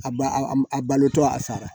A ba a balotɔ a sara